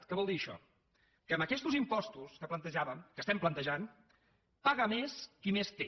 què vol dir això que amb aquestos impostos que plantejàvem que estem plantejant paga més qui més té